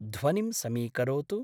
ध्वनिं समीकरोतु।